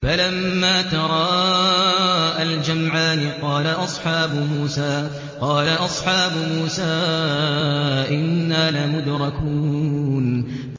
فَلَمَّا تَرَاءَى الْجَمْعَانِ قَالَ أَصْحَابُ مُوسَىٰ إِنَّا لَمُدْرَكُونَ